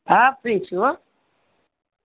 હા free છુ હો